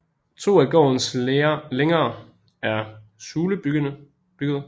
To af gårdens længer er sulebyggede